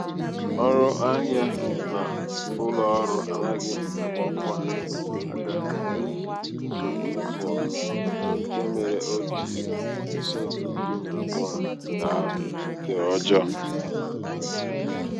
ọnụ ahịa nke ụlọ ọrụ anaghị agbakwa aga n'ihi nsogbu netwọk nke mere o jiri pasenti iri na abụọ daa nke ọjọọ.